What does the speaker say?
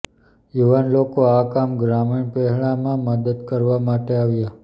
યુવાન લોકો આ કામ ગ્રામીણ પહેલા માં મદદ કરવા માટે આવ્યા